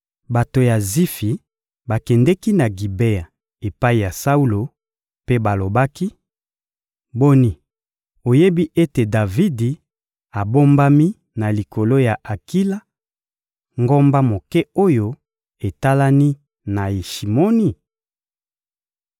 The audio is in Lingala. Bato ya Zifi bakendeki na Gibea epai ya Saulo, mpe balobaki: «Boni, oyebi ete Davidi abombami na likolo ya Akila, ngomba moke oyo etalani na Yeshimoni?»